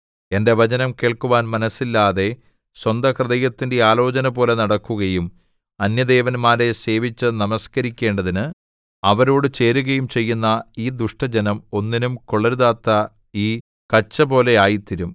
എന്റെ വചനം കേൾക്കുവാൻ മനസ്സില്ലാതെ സ്വന്ത ഹൃദയത്തിന്റെ ആലോചനപോലെ നടക്കുകയും അന്യദേവന്മാരെ സേവിച്ചു നമസ്കരിക്കേണ്ടതിന് അവരോടു ചേരുകയും ചെയ്യുന്ന ഈ ദുഷ്ടജനം ഒന്നിനും കൊള്ളരുതാത്ത ഈ കച്ചപോലെ ആയിത്തീരും